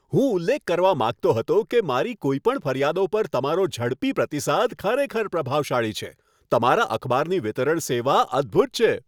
હું ઉલ્લેખ કરવા માગતો હતો કે મારી કોઈપણ ફરિયાદો પર તમારો ઝડપી પ્રતિસાદ ખરેખર પ્રભાવશાળી છે. તમારા અખબારની વિતરણ સેવા અદ્ભૂત છે.